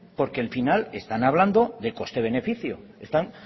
porque al final están hablando de coste beneficio